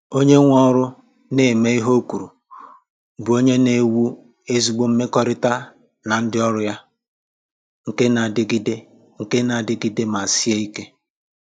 Onye nwe ọrụ na-eme ihe o kwuru bụ onye na-ewu ezigbo mmekọrịta na ndị ọrụ ya — nke na adịgide nke na adịgide ma sie ike.